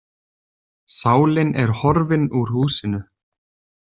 Sálin er horfin úr húsinu.